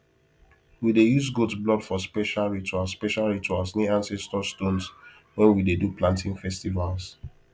we dey use goat blood for special rituals special rituals near ancestor stones when we dey do planting festivals